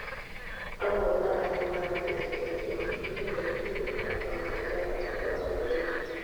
amwe a aria mararigĩrĩirio nĩ mũteti na mabithaa atatũ a borithi